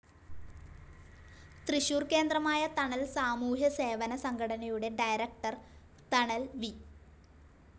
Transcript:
തൃശൂർ കേന്ദ്രമായ തണൽ സാമൂഹ്യസേവന സംഘടനയുടെ ഡയറക്ടർ, തണൽ വി.